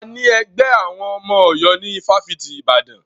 A ní ẹgbẹ́ àwọn ọmọ Ọ̀yọ́ ní ifáfitì Ibadan.